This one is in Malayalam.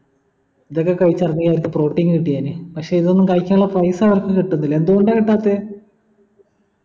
ഇതൊക്കെ കഴിച് ഇറങ്ങിയ അവർക്ക് protein കിട്ടിയേനെ പക്ഷെ ഇതൊന്നും കഴിക്കാനുള്ള പൈസ അവർക് കിട്ടുന്നില്ല എന്തുകൊണ്ട കിട്ടാത്തെ